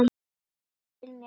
Hann réttir mér stein.